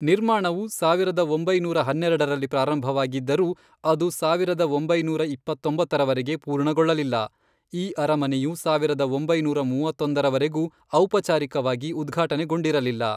ನಿರ್ಮಾಣವು, ಸಾವಿರದ ಒಂಬೈನೂರ ಹನ್ನೆರಡರಲ್ಲಿ ಪ್ರಾರಂಭವಾಗಿದ್ದರೂ, ಅದು ಸಾವಿರದ ಒಂಬೈನೂರ ಇಪ್ಪತ್ತೊಂಬತ್ತರವರೆಗೆ ಪೂರ್ಣಗೊಳ್ಳಲಿಲ್ಲ, ಈ ಅರಮನೆಯು ಸಾವಿರದ ಒಂಬೈನೂರ ಮೂವತ್ತೊಂದರವರೆಗೂ ಔಪಚಾರಿಕವಾಗಿ ಉದ್ಘಾಟನೆಗೊಂಡಿರಲಿಲ್ಲ.